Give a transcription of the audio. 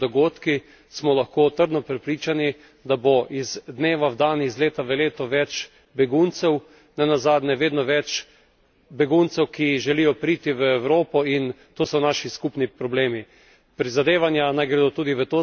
Kajti tako, kakor se razvijajo dogodki, smo lahko trdno prepričani, da bo iz dneva v dan, iz leta v leto več beguncev, nenazadnje vedno več beguncev, ki želijo priti v Evropo, in to so naši skupni problemi.